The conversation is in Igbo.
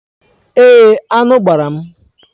Èé, aṅụ gbara m.